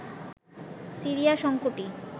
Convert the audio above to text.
Syria সংকটই